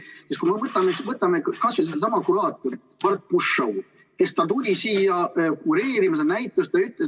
Sest kui me võtame kas või sellesama kuraatori, Bart Pushaw', kes tuli siia kureerima seda näitust.